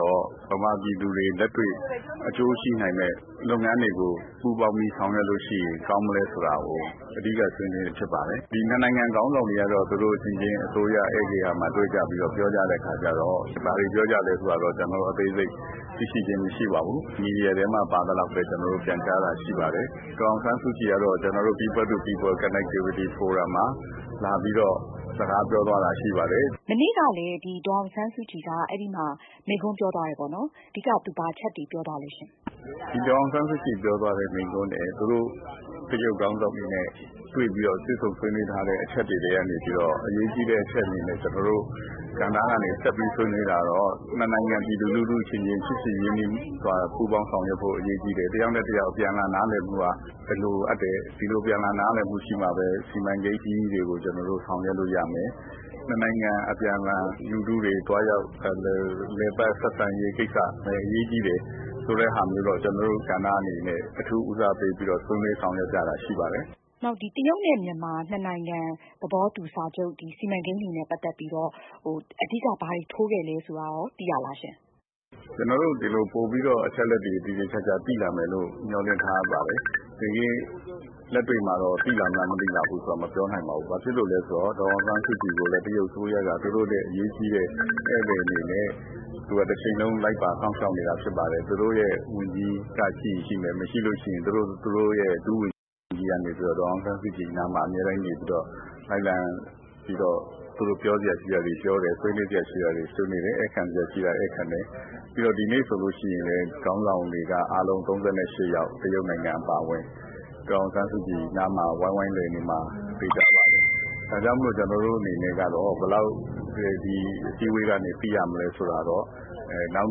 တော့ မြန်မာပြည်သူတွေ လက်တွေ့အကျိုးရှိနိုင်မယ့် လုပ်ငန်းတွေကို ဘယ်လို ပူးပေါင်းပြီးဆောင်ရွက်ရင် ကောင်းမလဲဆိုတာကို အဓိက ဆွေးနွေးတာဖြစ်ပါတယ်။ နှစ်နိုင်ငံခေါင်းဆောင်တွေကတော့ သူတို့အချင်းချင်း အစိုးရ ဧည့်ဂေဟာမှာ တွေ့ပြီးတော့ ပြောကြတဲ့အခါကျတော့ ဘာတွေပြောကြသလဲဆိုတာကတော့ ကျနော်တို့ အသေးစိတ် သိရှိခြင်းမရှိပါဘူး။ မီဒီယာထဲမှာ ပါသလောက်ပဲ ကျနော်တို့ ပြန်ကြားတာရှိပါတယ်။ People to people connectivity forum မှာ ဒေါ်အောင်ဆန်းစုကြည်က လာပြီးတော့ စကားပြောသွားတာရှိပါတယ်။ မအင်ကြင်းနိုင်။ ။ မနေ့ကလည်း ဒေါ်အောင်ဆန်းစုကြည်က အဲဒီမှာ မိန့်ခွန်းပြောသွားတယ်ပေါ့နော်။ အဓိက သူဘာအချက်တွေ ပြောသွားသလဲရှင့်။ ဒေါက်တာဖုန်းဝင်း ။ ။ ဒေါ်အောင်ဆန်းစုကြည်က မိန့်ခွန်းထဲ သူတို့ တရုတ်ခေါင်းဆောင်တွေ တွေ့ပြီးတော့ တွေ့ဆုံဆွေးနွေးထားတဲ့အချက်တွေထဲက အရေးကြီးတဲ့ အချက်အနေနဲ့ ကျနော်တို့ ဆက်ပြီးဆွေးနွေးတာကတော့ ၂ နိုင်ငံ ပြည်သူလူထုအချင်းချင်း ချစ်ကြည်ရင်းနှီးစွာ ပူးပေါင်းဆောင်ရွက်ဖို့ အရေးကြီးတယ် တယောက်နဲ့ တယောက် အပြန်အလှန်နားလည်မှုက လိုအပ်တယ်။ ဒီလို အပြန်အလှန်နားလည်မှုရှိမှ စီမံကိန်းကြီးတွေကို ကျနော်တို့ ဆောင်ရွက်လို့ရမယ်။ နှစ်နိုင်ငံ အပြန်အလှန် လူထုတွေသွားရောက်လည်ပတ်ဆက်ဆံရေး ကိစ္စလည်း အရေးကြီးတယ်ဆိုတာမျိုးတော့ ကျနော်တို့ ကဏ္ဍအနေနဲ့ အထူးဦးစားပေးပြီးတော့ ဆက်လက်ဆောင်ရွက်တာရှိပါတယ်။ မအင်ကြင်းနိုင်။ ။ နောက် တရုတ်နဲ့ မြန်မာ နှစ်နိုင်ငံ သဘောတူစာချုပ် စီမံကိန်းတွေနဲ့ ပတ်သက်ပြီးတော့ အဓိက ဘာတွေ ထိုးခဲ့လဲဆိုတာရော သိရသလားရှင့်။ ဒေါက်တာဖုန်းဝင်း ။ ။ ကျနော်တို့ ပိုပြီးတော့ အချက်အလက်တွေ သေသေချာချာသိလာမယ်လို့ မျှော်လင့်ထားပါတယ်။ တကယ့်လက်တွေ့မှာတော့ သိလာမလား၊ မသိလာဘူးလားဆိုတာကတော့ မပြောနိုင်ပါဘူး။ ဘာဖြစ်လို့လဲဆိုတော့ ဒေါ်အောင်ဆန်းစုကြည်ကိုလည်း တရုတ်အစိုးရက သူတို့အရေးကြီးတဲ့ ဧည့်သည်အနေနဲ့ သူ့ကို တချိန်လုံး လိုက်ပါစောင့်ရှောက်နေတာဖြစ်ပါတယ်။ သူတို့ ဝန်ကြီးရှိရင် ရှိမယ် ၊မရှိရင် ဒုဝန်ကြီးကနေပြီးတော့ ဒေါ်အောင်ဆန်းစုကြည်အနားမှာ အမြဲတမ်းနေပြီးတော့ လိုက်လံပြီးတော့ ပြောစရာတွေပြောတယ်၊ ဆွေးနွေးစရာတွေ ဆွေးနွေးတယ်။ ဧည့်ခံစရာရှိတာတွေ ဧည့်ခံတယ်။ ပြီးတော့ ဒီနေ့ဆိုရင်လည်း ခေါင်းဆောင်တွေက အားလုံး ၃၈ ယောက်။ တရုတ်နိုင်ငံအပါအဝင် ဒေါ်အောင်ဆန်းစုကြည် နားမှာ ဝိုင်းဝိုင်းလည်နေမှာ သေချာပါတယ်။ ဒါကြောင့်မို့လို့ ကျနော်တို့ အနေနဲ့ကတော့ ဒီအစည်းအဝေးကနေ ဘယ်လောက် သိရမလဲဆိုတာကတော့ နောက်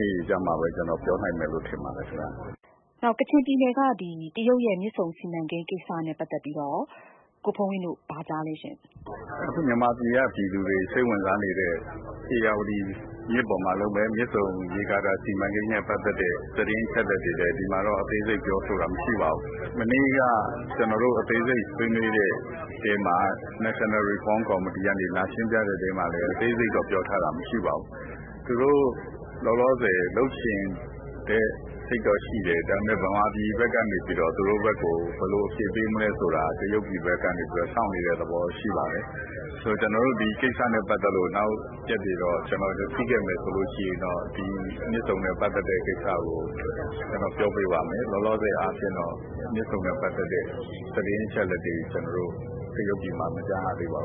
နေ့တွေကျမှ ကျနော်ပြောနိုင်မယ်လို့ ထင်ပါတယ်။ မအင်ကြင်းနိုင်။ ။ နောက် ကချင်ပြည်နယ်က တရုတ်ရဲ့ မြစ်ဆုံစီမံကိန်း ကိစ္စနဲ့ ပတ်သက်ပြီးတော့ရော ကိုဖုန်းဝင်းတို့ ဘာကြားသလဲရှင့်။ ဒေါက်တာဖုန်းဝင်း ။ ။ အခုမြန်မာပြည်က ပြည်သူတွေ စိတ်ဝင်စားနေတဲ့ ဧရာဝတီမြစ်ပေါ်မှာ လုပ်မယ့် မြစ်ဆုံ ရေကာတာ စီမံကိန်းနဲ့ ပတ်သက်တဲ့ သတင်းအချက်အလက်တွေကို ဒီမှာတော့ အသေးစိတ်ပြောဆိုတာ မရှိပါဘူး။ မနေ့က ကျနော်တို့ အသေးစိတ်ဆွေးနွေးတဲ့အထဲမှာ National Reform Committee ကနေ လာရှင်းပြတဲ့အထဲမှာလည်း အသေးစိတ်ပြောထားတာမရှိပါဘူး။ သူတို့ လောလောဆည် လုပ်ချင်တဲ့ဟာတော့ရှိတယ်။ ဒါပေမယ့် မြန်မာပြည်ဘက်ကနေပြီးတော့ သူတို့ဘက်ကို ဘယ်လိုအဖြေပေးမလဲဆိုတာ တရုတ်ပြည်ဘက်ကနေပြီးတော့ စောင့်နေတဲ့ သဘောရှိပါတယ်။ ဆိုတော့ ကျနော်တို့ ဒီကိစ္စနဲ့ ပတ်သက်ပြီးတော့ နောက်ရက်တွေမှာ ဖြစ်ခဲ့မယ်ဆိုရင် မြစ်ဆုံနဲ့ ပတ်သက်တဲ့ ကိစ္စကို ကျနော်ပြောပေးပါမယ်။ လောလောဆည်မှာတော့ မြစ်ဆုံနဲ့ ပတ်သက်တဲ့ သတင်းအချက်အလက်တွေ ကျနော်တို့ တရုတ်ပြည်မှာ မကြားရသေးပါ